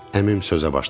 Əmim sözə başladı.